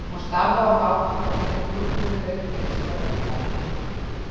Hún starði á þá þangað til þeir glúpnuðu, lauk við sígarettuna, fór.